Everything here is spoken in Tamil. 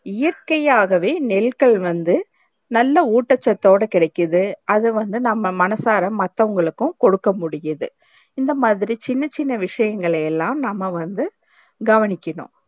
இயற்க்கையாகவே நெல்கள் வந்து நல்ல உட்டச்சத்து ஓட கிடைக்குது அது வந்து நம்ம மனசார மத்தவங்களுக்கு கொடுக்க முடியுது இந்த மாதிரி சின்ன சின்ன விஷயங்கள் எல்லாம் நம்ம வந்து கவனிக்கணும்